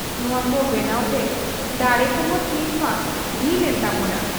ᱱᱚᱣᱟ ᱠᱚ ᱵᱮᱱᱟᱣ ᱛᱮ ᱰᱟᱲᱮ ᱠᱚᱦᱚᱸ ᱱᱤᱛᱢᱟ ᱰᱷᱤᱞ ᱮᱱ ᱛᱟᱵᱚᱣᱟ ᱾